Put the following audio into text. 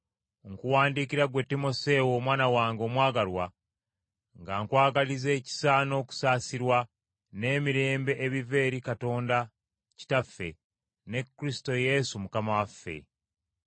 nkuwandiikira ggwe Timoseewo omwana wange omwagalwa, nga nkwagaliza ekisa n’okusaasirwa, n’emirembe ebiva eri Katonda Kitaffe, ne Kristo Yesu Mukama waffe.